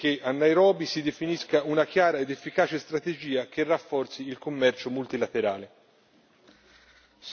Auspico quindi che a Nairobi si definisca una chiara ed efficace strategia che rafforzi il commercio multilaterale.